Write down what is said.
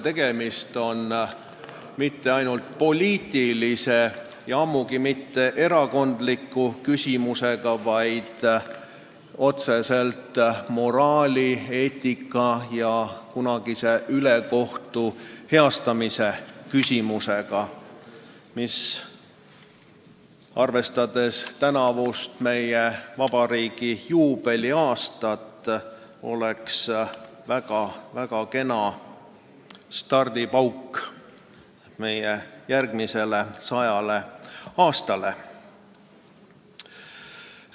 Tegemist ei ole mitte ainult poliitilise, ammugi mitte ainult erakondliku küsimusega, vaid otseselt moraali, eetika ja kunagise ülekohtu heastamisega, mis meie vabariigi tänavusel juubeliaastal oleks väga kena stardipauk järgmisele sajale aastale.